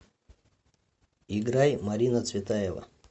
играй марина цветаева